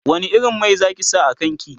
wani irin Mai Zaki sa a kanki?